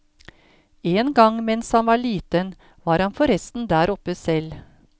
En gang mens han var liten, var han forresten der oppe selv.